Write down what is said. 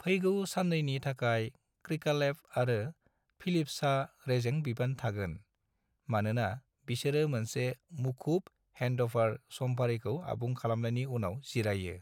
फैगौ सान्नैनि थाखाय क्रिकालेव आरो फिलिप्सहा रेजें बिबान थागोन, मानोना बिसोरो मोनसे मुखुब हेन्डअभार समफारिखौ आबुं खालामनायनि उनाव जिरायो।